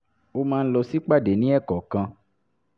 ó máa ń lọ sípàdé ní ẹ̀ẹ̀kọ̀ọ̀kan